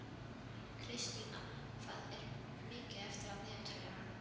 Kristína, hvað er mikið eftir af niðurteljaranum?